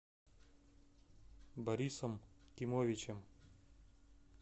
борисом кимовичем